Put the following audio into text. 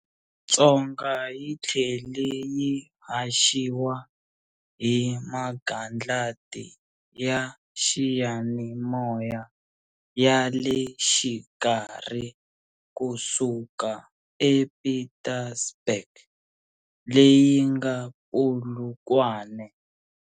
Tsonga yi thlele yi haxiwa hi magandlati ya xiyanimoya yale xikarhi kusuka e Pietersburg, leyinga Polokwane